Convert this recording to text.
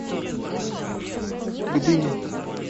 гдыня